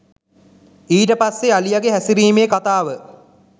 ඊට පස්සෙ අලියගෙ හැසිරීමේ කතාව